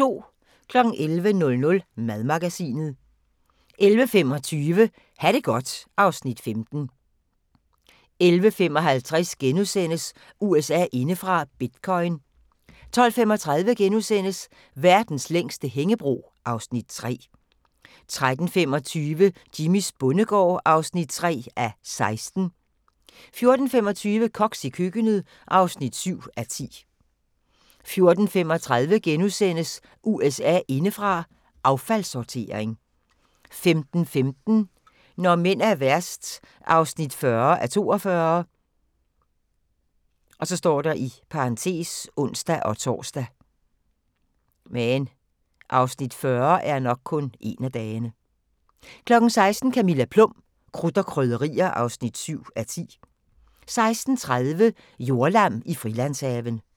11:00: Madmagasinet 11:25: Ha' det godt (Afs. 15) 11:55: USA indefra: Bitcoin * 12:35: Verdens længste hængebro (Afs. 3)* 13:25: Jimmys bondegård (3:16) 14:25: Koks i køkkenet (7:10) 14:35: USA indefra: Affaldssortering * 15:15: Når mænd er værst (40:42)(ons-tor) 16:00: Camilla Plum – Krudt og Krydderier (7:10) 16:30: Jordlam i Frilandshaven